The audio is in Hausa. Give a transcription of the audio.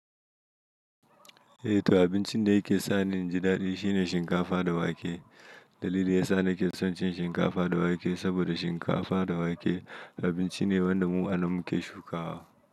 Eh to abincin da yake sa ni in ji daɗi shine shinkafa da wake. Dalili yasa na ke son cin shinkafa da wake saboda shinkafa da wake abinci ne wanda mu anan muke shukawa.